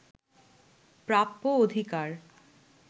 প্রাপ্য অধিকার